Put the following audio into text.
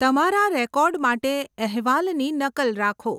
તમારા રેકોર્ડ માટે અહેવાલની નકલ રાખો.